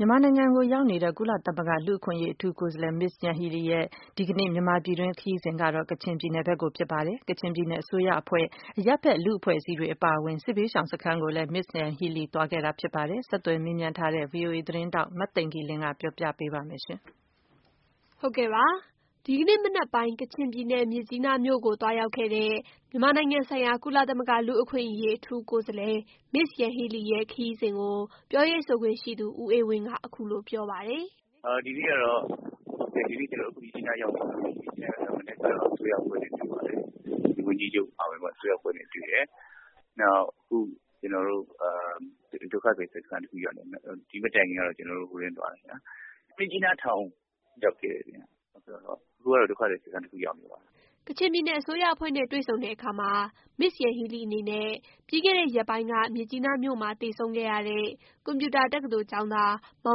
မြန်မာနိုင်ငံကို ရောက်ရှိနေတဲ့ ကုလသမဂ္ဂ လူ့အခွင့်အရေးအထူးကိုယ်စားလှယ် Ms Yanghee Lee ဟာ ဒီနေ့မှာတော့ ကချင်ပြည်နယ်ကို သွားရောက်ခဲ့ပြီး ပြည်နယ် အစိုးရအဖွဲ့၊ အရပ်ဖက်လူ့အဖွဲ့အစည်းတွေအပါအဝင် စစ်ဘေးရှောင်စခန်းကိုလည်း သွားရောက်ခဲ့ပါတယ်။ ဆက်သွယ်မေးမြန်းထားတဲ့ VOA သတင်းထောက် မသိင်္ဂ ီလင်းက ပြောပြပေးပါမယ်။ ဒီနေ့ မနက်ပိုင်း ကချင်ပြည်နယ် မြစ်ကြီးနားကို သွားရောက်ခဲ့တဲ့ မြန်မာနိုင်ငံဆိုင်ရာ ကုလသမဂ လူ့အခွင့်အရေးအထူးကိုယ်စားလှယ် Ms. Yanghee Lee ရဲ့ ခရီးစဉ်ကို ပြောရေးဆိုခွင့်ရှိသူ ဦးအေးဝင်းက အခုလို ပြောပါတယ်။ " ဒီနေ့ကတော့ ကျနော်တို့မြစ်ကြီးနားရောက်နေပါပြီ။ မနက်ကတော့ အစိုးရအဖွဲ့နဲ့တွေ့ပါတယ်။ ကချင်ပြည်နယ်ဝန်ကြီးချုပ်အပါအဝင် အစိုးရ အဖွဲ့နဲ့တွေ့တယ်။ အခုကတော့ ကျနော်တို့ ဒုက္ခသည်စခန်းမှာပါ။ ဒီ့မတိုင်ခင်ကတော့ မြစ်ကြီးနားထောင်ကိုရောက်တယ်။ အခုကတော့ ဒုက္ခသည်စခန်းတခုရောက်နေပါတယ်။" ကချင်ပြည်နယ်အစိုးရအဖွဲ့နဲ့တွေ့ဆုံခဲ့အခါမှာ Ms Yanghee Lee အနေနဲ့ ပြီးခဲ့တဲ့ ရက်ပိုင်းက မြစ်ကြီးနားမြို့မှာ သေဆုံးခဲ့ရတဲ့ ကွန်ပြူတာ တက္ကသိုလ်ကျောင်းသား မော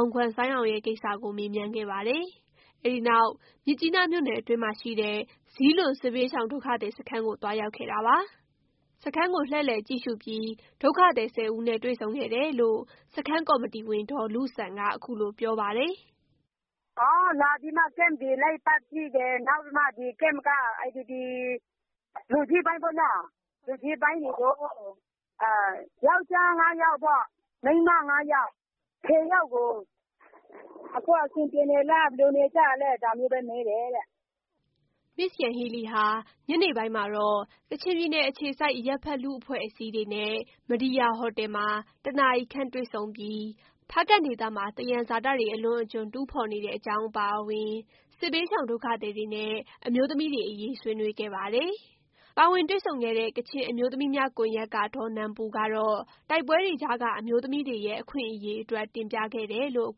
င်ဂွမ်ဆိုင်းအောင်ရဲ့ ကိစ္စကို မေးမြန်းခဲ့ပါတယ်။ အဲ့ဒီနောက် မြစ်ကြီးနားမြို့နယ်အတွင်းမှာရှိတဲ့ ဇီးလွန် စစ်ဘေးရှောင် ဒုက္ခသည်စခန်း ကို သွားရောက်ခဲ့တာပါ။ စခန်းကို လှည့်လည်ကြည့်ရှုပြီး ဒုက္ခသည် ၁၀ ဦးနဲ့ တွေ့ဆုံခဲ့တယ်လို့ စခန်းကော်မတီဝင် ဒေါ်လုဆန်က အခုလို ပြောပါတယ်။ " အော် လာပြီးမှ ကမ့်တွေ လိုက်ပတ်ကြည့်တယ်။ နောက်ပြီးမှ ကမ့်က လူကြီးပိုင်းပေါ့နော် လူကြီးပိုင်းတွေကို ယောက်ျားငါးယောက်၊ မိန်းမငါးယောက် ဆယ်ယောက်ကို အခုအဆင်ပြေလား။ ဘယ်လိုနေနေကြလဲ။ ဒါမျိုးပဲ မေးတယ်တဲ့။" Ms Yanghee Lee ဟာ ညနေပိုင်းမှာတော့ ကချင်ပြည်နယ်အခြေစိုက် အရပ်ဖက် လူ့အဖွဲ့အစည်းတွေနဲ့ မဒီရာဟိုတယ်မှာ ၁ နာရီခန့်တွေ့ဆုံပြီး ဖားကန့်ဒေသမှာ သယံဇာတတွေ အလွန်အကျွံတူးဖော်နေတဲ့အရေး အပါအဝင် စစ်ဘေးရှောင် ဒုက္ခသည်တွေနဲ့ အမျိုးသမီးတွေအရေး ဆွေးနွေးခဲ့ပါတယ်။ ပါဝင်တွေ့ဆုံခဲ့တဲ့ ကချင်အမျိုးသမီးများကွန်ယက်က ဒေါ်နန်ပူကတော့ တိုက်ပွဲတွေကြားက အမျိုးသမီးတွေရဲ့အခွင့်အရေးအတွက် တင်ပြခဲ့တယ်လို့ အ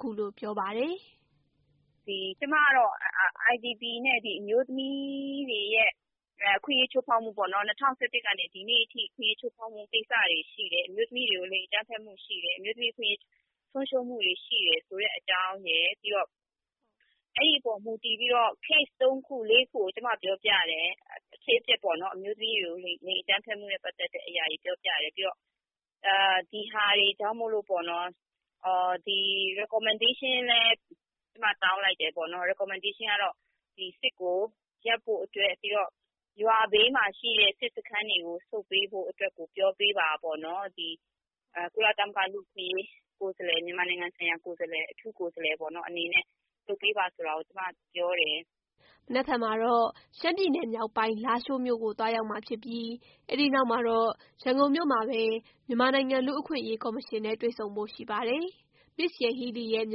ခုလို ပြောပါတယ်။ "ကျမကတော့ IDP နဲ့ အမျိုးသမီးတွေရဲ့ အခွင့်အရေးချိုးဖောက်မှုပေါ့နော်။ ၂၀၁၁ ကနေ ဒီနေ့အထိ အခွင့်အရေးချိုးဖောက်မှု ကိစ္စတွေရှိတယ်။ အမျိုးသမီးတွေကို လိင်အကြမ်းဖက်မှုရှိတယ်။ အမျိုးသမီးအခွင့်အရေးဆုံးရှုံးမှုတွေရှိတယ် ဆိုတဲ့အကြောင်းရယ် ပြီးတော့ အဲ့ဒီ့အပေါ် မူတည်ပြီးတော့ ကေ့စ်သုံးခုလေးခုကို ကျမပြောပြတယ်။ အဖြစ်အပျက်ပေါ့နော်။ အမျိုးသမီးတွေကို လိင်အကြမ်းဖက်မှုနဲ့ပတ်သက်တဲ့ အရာတွေကိုပြောပြတယ်။ ဒီဟာတွေနဲ့ ပတ်သက်လို့ recommendation လည်း တောင်းလိုက်တယ်။ recommendation ကတော့ ဒီစစ်ကို ရပ်ဖို့အတွက် ပြီးတော့ ရွာဘေးမှာ ရှိတဲ့ စစ်စခန်းတွေကို ဆုတ်ပေးဖို့အတွက်ကို ပြောပေးပါပေါ့နော်။ ဒီကုလသမဂ္ဂ အထူးကိုယ်စားလှယ် အနေနဲ့ မြန်မာနိုင်ငံဆိုင်ရာ အထူးကိုယ်စားလှယ်အနေနဲ့ လုပ်ပေးပါဆိုတာကို ကျမပြောတယ်။" မနက်ဖြန်မှာတော့ ရှမ်းပြည်နယ်မြောက်ပိုင်း လားရှိုးမြို့ကို သွားရောက်မှာဖြစ်ပြီး အဲ့ဒီနောက်မှာတော့ ရန်ကုန်မြို့မှာပဲ လူ့အခွင့်အရေးကော်မရှင်နဲ့ တွေ့ဆုံဖို့ရှိပါတယ်။ Ms Yanghee Lee ရဲ့ မြ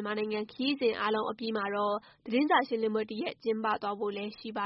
န်မာနိုင်ငံခရီးစဉ်အားလုံးအပြီးမှာတော့ သတင်းစာရှင်းလင်းပွဲတစ်ရပ် ကျင်းပသွားဖို့လည်းရှိပါ